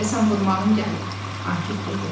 “Deyəsən vurmağın gəlib” Akif dedi.